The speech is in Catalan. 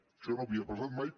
això no havia passat mai